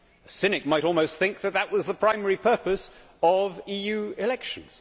A cynic might almost think that that was the primary purpose of EU elections.